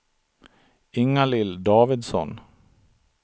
Inga-Lill Davidsson